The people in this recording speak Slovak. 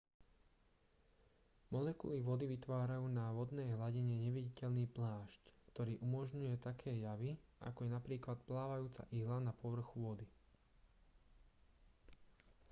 molekuly vody vytvárajú na vodnej hladine neviditeľný plášť ktorý umožňuje také javy ako je napríklad plávajúca ihla na povrchu vody